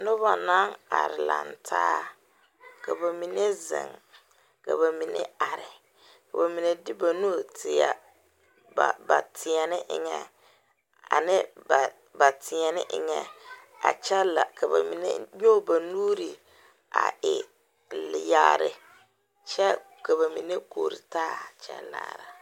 Noba naŋ are lantaa ka ba mine zeŋ ka ba mine are ka ba mine de ba nu teɛ ba teɛne eŋɛ ane ba teɛne eŋɛ a kyɛ la ka ba mine meŋ nyɔɡe ba nuuri a e leɛ yaare kyɛ ka ba mine kore taa kyɛ laara.